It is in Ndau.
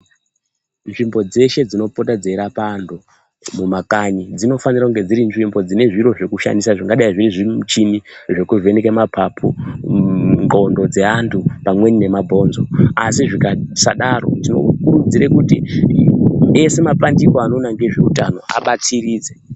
Nzvimbo dzeshe dzinopota dzeirapa antu mumakanyi dzinofanira kuva dziri nzvimbo dzine zviro zvekushandisa dzinagadau zvimuchini zvekuvheneka mapapu, nxondo dzevandu pamweni nemabhonzo asi zvikasadaro tokuridzira kuti ese mapandiko anoona ngezveutano abatsiridze.